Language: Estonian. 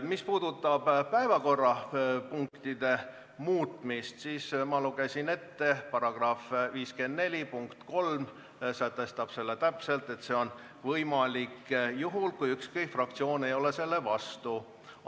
Mis puudutab päevakorrapunktide muutmist, siis ma lugesin ette § 54 lõike 3, mis sätestab täpselt, et see on võimalik juhul, kui ükski fraktsioon ei ole selle vastu.